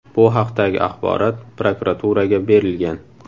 Bu haqdagi axborot prokuraturaga berilgan.